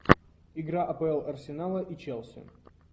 игра апл арсенала и челси